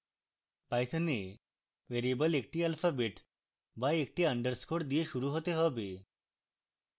python a variable একটি alphabet বা একটি underscore দিয়ে শুরু হতে হবে